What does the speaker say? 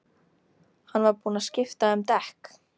Hann var búinn að skipta um dekk.